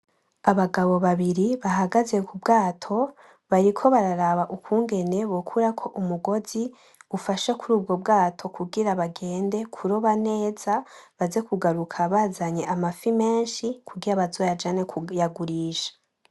Abagabo babiri bahagaze k’ubwato bariko bararaba ukungene bokurako umugozi ufashe kuri ubwo bwato kugira bagende kuroba neza baze kugaruka bazanye amafi menshi kugira bazoyajane kuyagurisha.